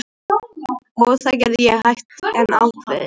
Og það gerði ég, hægt en ákveðið.